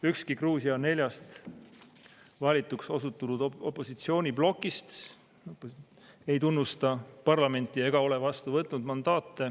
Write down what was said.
Ükski Gruusia neljast valituks osutunud opositsiooniplokist ei tunnusta parlamenti ega ole mandaate vastu võtnud.